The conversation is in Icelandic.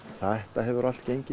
þetta hefur allt gengið